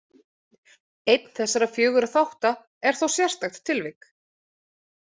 Einn þessara fjögurra þátta er þó sérstakt tilvik.